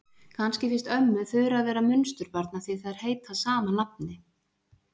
Kannski finnst ömmu Þura vera munsturbarn af því að þær heita sama nafni.